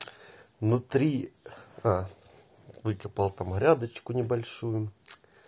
внутри а выкопал грядочку небольшую